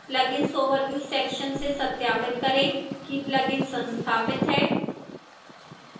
plugins overview section से सत्यापित करें कि plugin संस्थापित है